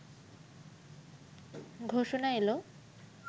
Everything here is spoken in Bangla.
ঘোষণা এলো